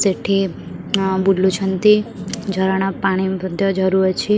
ସେଠି ଆଁ ବୁଲୁଛନ୍ତି ଝରଣା ପାଣି ବଧ୍ୟ ଝରୁଅଛି ।